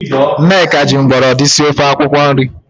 Nneka ji mgbọrọdị sie ofe akwụkwo nri.